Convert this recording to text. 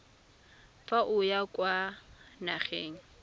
fa o ya kwa nageng